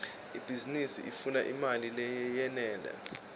ibhizinisi ifuna imali leyenele